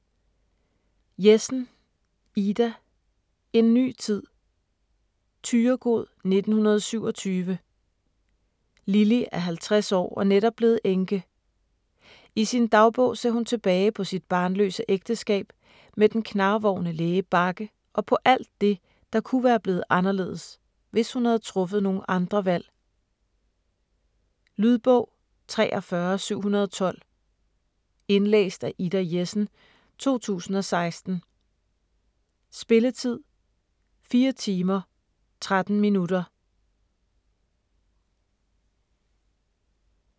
Jessen, Ida: En ny tid Thyregod, 1927. Lilly er 50 år og netop blevet enke. I sin dagbog ser hun tilbage på sit barnløse ægteskab med den knarvorne læge Bagge og på alt det, der kunne være blevet anderledes, hvis hun havde truffet nogle andre valg. Lydbog 43712 Indlæst af Ida Jessen, 2016. Spilletid: 4 timer, 13 minutter.